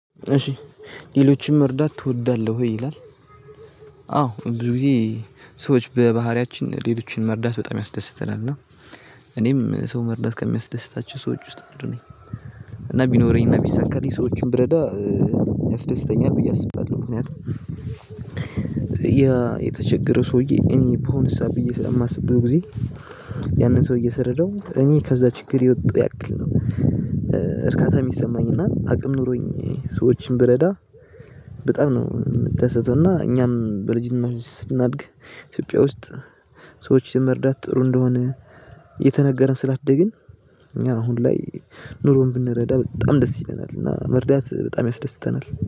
እሺ ሌሎችን መርዳት ትወዳለህ ወይ ይላል? አዎ ብዙ ጊዜ ሰዎች በባህሪያችን ሌሎችን መርዳት በጣም ያስደስተናል እና እኔም ሰው መርዳት ከሚያስደስታቸው ሰዎች ውስጥ አንዱ ነኝ። እና ቢኖረኝ እና ቢሰካልኝ ሰዎችን ብረዳ ያስደስተኛል ብዬ አስባለሁ። ምክንያቱም የተቸገረ ሰውዬ እኔ በሆንሳ ብዬ ስለማስብ ብዙ ጊዜ ያንን ሰውዬ ስርደው እኔ ከዛ ችግር የወጣሁ ያክል ነው። እርካታ የሚሰማኝ እና አቅም ኖሮኝ ሰዎችን ብረዳ በጣም ነው የምደሰተው። እና እኛም በልጅነታችን ስናድግ ኢትዮጵያ ውስጥ ሰዎችን መርዳት ጥሩ እንደሆነ እየተነገረን ስላደግን እኛ አሁን ላይ ኑሮን ብንረዳ በጣም ደስ ይለናል። እና መርዳት በጣም ያስደስተናል